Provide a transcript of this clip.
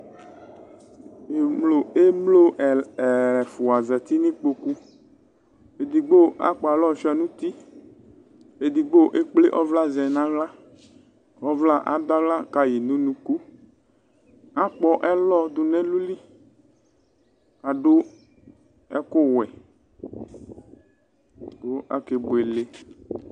emlo ɛf, ɛfua zati nʋ ikpokuedigbo akpɔ alɔ suia nʋ utiedigbo ekple ɔvla zɛ nʋ aɣlakʋ ɔvla adʋ aɣla kayi nʋ unukuakpɔ ɛlɔ du nu ɛlʋliadʋ ɛkʋwɛkʋ akebuele